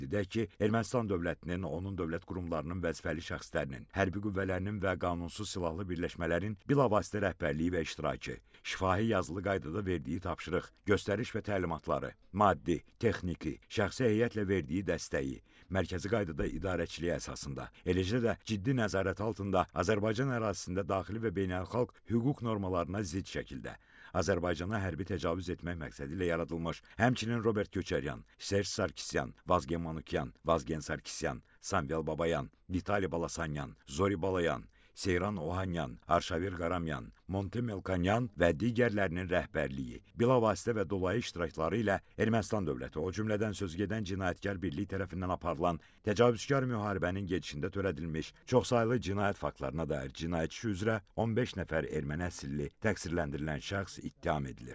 Qeyd edək ki, Ermənistan dövlətinin, onun dövlət qurumlarının vəzifəli şəxslərinin, hərbi qüvvələrinin və qanunsuz silahlı birləşmələrin bilavasitə rəhbərliyi və iştirakı, şifahi yazılı qaydada verdiyi tapşırıq, göstəriş və təlimatları, maddi, texniki, şəxsi heyətlə verdiyi dəstəyi, mərkəzi qaydada idarəçiliyi əsasında, eləcə də ciddi nəzarət altında Azərbaycan ərazisində daxili və beynəlxalq hüquq normalarına zidd şəkildə Azərbaycana hərbi təcavüz etmək məqsədi ilə yaradılmış, həmçinin Robert Köçəryan, Serj Sarkisyan, Vazgen Manukyan, Vazgen Sarkisyan, Samvel Babayan, Vitali Balasanyan, Zori Balayan, Seyran Ohanyan, Arşavir Qaramyan, Monte Melkonyan və digərlərinin rəhbərliyi, bilavasitə və dolayı iştirakları ilə Ermənistan dövləti, o cümlədən sözügedən cinayətkar birliyi tərəfindən aparılan təcavüzkar müharibənin gedişində törədilmiş çoxsaylı cinayət faktlarına dair cinayət işi üzrə 15 nəfər erməni əsilli təqsirləndirilən şəxs ittiham edilir.